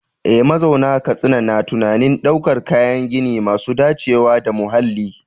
Eh, mazauna Katsina na tunanin daukar kayan gini masu dacewa da muhalli.